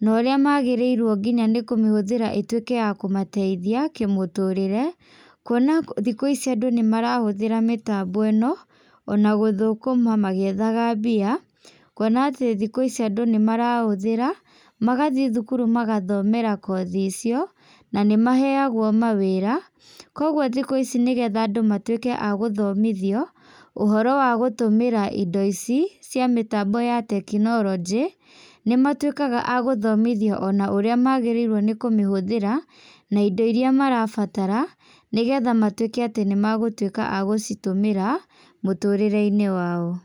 na ũrĩa magĩrĩirwo nginya nĩkũmĩhũthĩra ituĩke ya kũmateithia kĩmũtũrĩre, kuona thikũ ici andũ nĩmarahũthra mĩtambo ĩno, ona gũthũkuma magiethaga mbia, kuona atĩ thikũ ici andũ nĩmarahũthĩra, magathiĩ thukuru magathomera kothi icio, na nĩmaheagwo mawĩra, koguo thikũ ici nĩgetha nadũ matuĩke a gũthomithio ũhoro wa kũhũthĩra indo ici cia mĩtambo ya tekinolojĩ, nĩmatuĩkaga a gũthomithio ona ũrĩa magĩrĩirwo nĩ kũmĩhũthĩra na indo iria marabatara, nĩgetha matuĩke atĩ nĩ magũtuĩka a gucitũmĩra, mũtũrĩreinĩ wao.